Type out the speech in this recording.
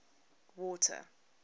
water